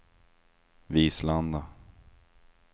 Vislanda